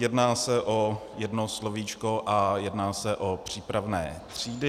Jedná se o jedno slovíčko a jedná se o přípravné třídy.